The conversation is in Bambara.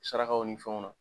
Sarakaw ni fɛnw na